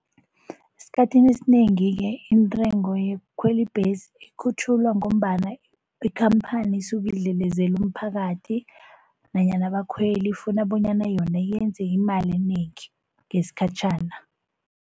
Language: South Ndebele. Esikhathini esinengi-ke intengo yokukhwela ibhesi ikhutjhulwa ngombana ikhamphani isuka idlelezela umphakathi nanyana abakhweli, ifuna bonyana yona yenze imali enengi ngesikhatjhana.